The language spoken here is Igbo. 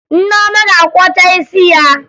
Nneoma ga-akwọcha isi ya